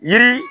Yiri